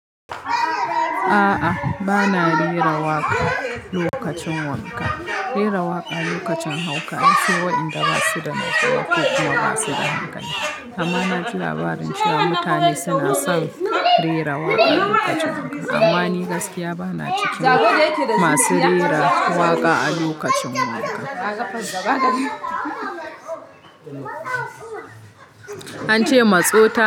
A'a, ba na rera waƙa lokacin wanka. Rera waƙa lokacin hauka an fi waɗanda ba su da lafiya ko kuma ba su da hankali. Amma na ji labarin cewa mutane suna son rera waƙa lokacin wanka, amma ni gaskiya ba na cikin masu rera waƙa a lokacin wanka. An ce matsota.